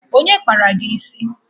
Onye kpara gị isi?